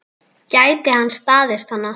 Gæti hann staðist hana?